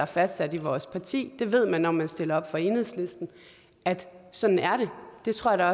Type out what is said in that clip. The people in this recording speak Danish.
fastsat i vores parti det ved man når man stiller op for enhedslisten at sådan er det det tror jeg